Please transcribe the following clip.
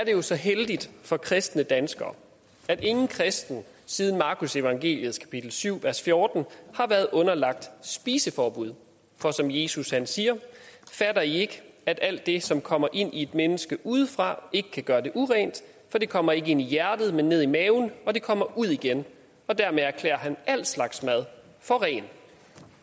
jo så heldigt for kristne danskere at ingen kristen siden markusevangeliets kapitel syv vers fjorten har været underlagt spiseforbud for som jesus siger fatter i ikke at alt det som kommer ind i et menneske udefra ikke kan gøre det urent for det kommer ikke ind i hjertet men ned i maven og det kommer ud igen dermed erklærer han al slags mad for ren